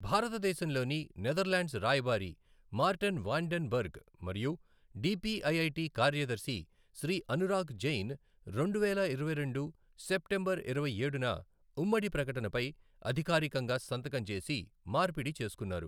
భారతదేశంలోని నెదర్లాండ్స్ రాయబారి, Marten van den Berg మరియు D P I I T కార్యదర్శి శ్రీ అనురాగ్ జైన్ రెండువేల ఇరవైరెండు సెప్టెంబర్ ఇరవైఏడున ఊమ్మడి ప్రకటన పై అధికారికంగా సంతకం చేసి మార్పిడి చేసుకున్నారు.